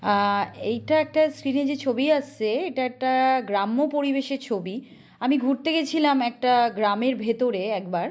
আ এইটা একটা স্ক্রিন -এ যে ছবি আসছে এটা একটা গ্রাম্য পরিবেশের ছবি । আমি ঘুরতে গেছিলাম। একটা গ্রামের ভেতরে একবার--